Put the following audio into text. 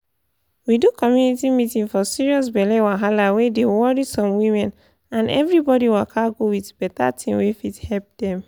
we do community meeting for serious belle wahala wey dey worry some women and everybody waka go with better thing wey fit help dem.